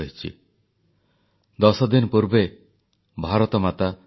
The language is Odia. ଶହୀଦଙ୍କ ପରିବାର ପରାକ୍ରମୀ ଭାରତର ଜୀବନ୍ତ ଉଦାହରଣ ଉଜ୍ଜ୍ୱଳ ଭାରତର ଭବିଷ୍ୟ ପିଢି ପାଇଁ ପ୍ରେରଣା